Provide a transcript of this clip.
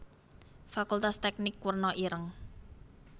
Fakultas Teknik werna ireng